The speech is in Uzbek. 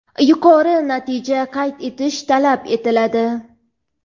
yuqori natija qayd etish talab etiladi.